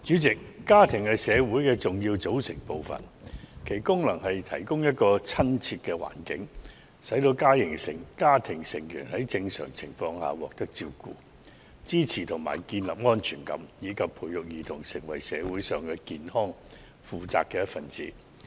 主席，家庭是社會的重要組成部分，其功能是提供親切友善的環境，使家庭成員在正常情況下獲得照顧、支持和建立安全感，以及培育兒童成為社會上健康、負責的一分子。